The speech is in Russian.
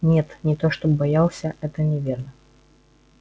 нет не то чтоб боялся это неверно